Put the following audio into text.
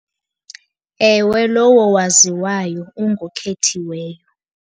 Ewe, lowo waziwayo ungokhethiweyo.